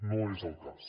no és el cas